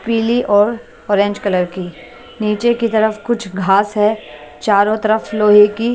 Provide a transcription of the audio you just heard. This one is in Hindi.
पीली और ऑरेंज कलर की नीचे की तरफ कुछ घास है चारों तरफ लोहे की --